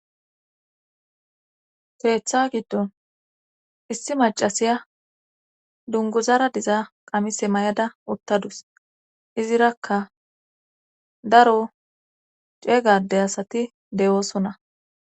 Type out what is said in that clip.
teetha giddon issi macasiya dunguzara diza qamise may7ada uttadus izirakka daro ceegade asati de7oosonna